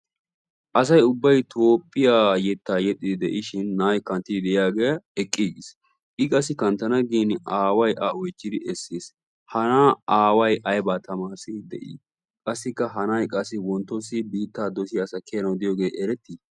Asay ubbay toophphiyaa yettaa yexxiidi de'ishin na'ay kanttiidi de'iyaagee eqqigiis I qassi kanttana aaway a oychchidi essis. ha na'aa aaway aybaa tamarissiidi de'ii? qassikka ha wonttossi biittaa dossiyaa asa kiyanawu diyoogee erettii?